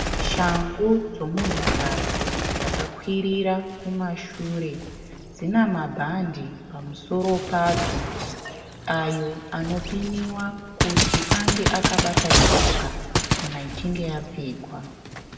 Shangu dzemunhukadzi dzakakwirira kumashure. Dzinamabhande pamusoro ayo anopinwa kuti anga akabata tsoka kana ichinge yapfekwa.